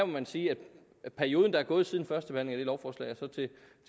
man sige at perioden der er gået siden førstebehandlingen lovforslag og til